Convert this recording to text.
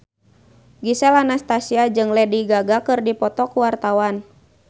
Gisel Anastasia jeung Lady Gaga keur dipoto ku wartawan